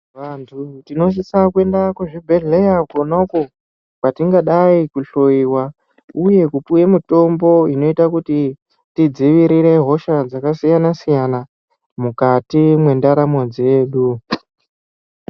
Vanthu tinosisa kuenda kuzvibhedhleya kwonako kwatikadai kuhloiwa uye kupuwe mitombo inoita kuti tidziirire hosha dzakasiyana siyana mukati mwendaramo dzedu.